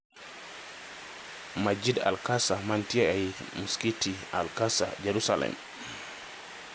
Masjid Al-Aqsa manitie ei Maskiti Al-Aqsa, Yerusalem,